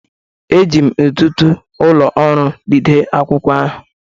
Eji m ntụtụ ụlọ ọrụ jide akwụkwọ ahụ